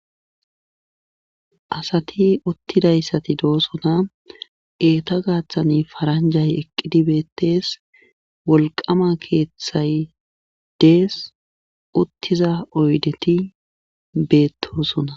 Asat utidaysati dosona, eta gathan paranjay Eqid betes, wolqama kethay Des, utiza oydet betosona.